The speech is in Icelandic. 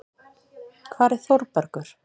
Hvar er Þórbergur?